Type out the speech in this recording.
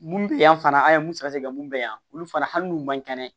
Mun bɛ yan fana an ye mun sɛgɛ sɛgɛ mun bɛ yan olu fana hali n'u man kɛnɛ